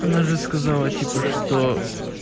она же сказала типа что